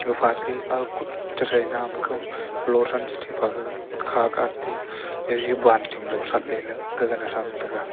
pha te au kut che thai nam ka lo than te tu pa ga kha ka ate gage banting lo thatle lela gege ne tham tega.